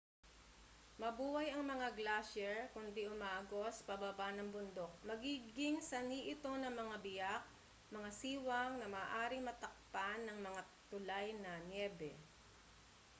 mabuway ang mga glasyer kundi umaagos pababa ng bundok magiging sanhi ito ng mga biyak mga siwang na maaaring matakpan ng mga tulay na nyebe